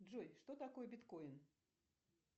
джой что такое биткоин